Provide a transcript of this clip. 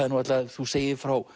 þú segir frá